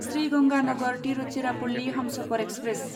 Sri Ganganagar Tiruchirappalli Humsafar express